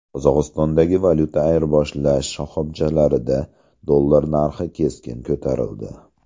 Qozog‘istondagi valyuta ayirboshlash shoxobchalarida dollar narxi keskin ko‘tarildi.